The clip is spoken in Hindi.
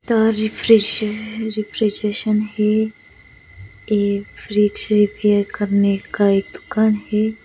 रिफ्रेश है रेफ़्रिजशन है एक फ्रिज ये सेल करनेका दुकान है.